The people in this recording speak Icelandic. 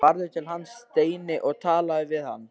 Farðu til hans, Steini, og talaðu við hann!